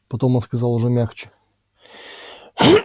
потом он сказал уже мягче